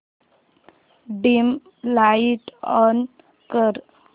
dim light on कर